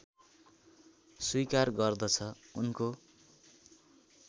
स्वीकार गर्दछ उनको